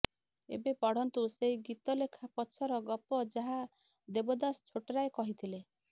ଏବେ ପଢ଼ନ୍ତୁ ସେହି ଗୀତ ଲେଖା ପଛର ଗପ ଯାହା ଦେବଦାସ ଛୋଟରାୟ କହିଥିଲେ